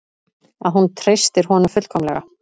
Að hún treystir honum fullkomlega.